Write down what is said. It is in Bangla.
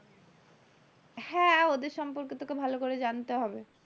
হ্যাঁ ওদের সম্পর্কে তোকে ভালো করে জানতে হবে।